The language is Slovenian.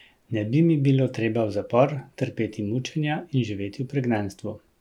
Ne bi mi bilo treba v zapor, trpeti mučenja in živeti v pregnanstvu.